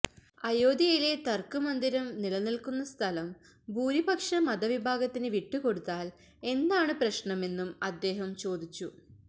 അയോധ്യയിലെ തര്ക്ക് മന്ദിരം നിലനില്ക്കുന്ന സ്ഥലം ഭൂരിപക്ഷ മതവിഭാഗത്തിന് വിട്ടുകൊടുത്താല് എന്താണ് പ്രശ്നമെന്നും അദ്ദേഹം ചോദിച്ചു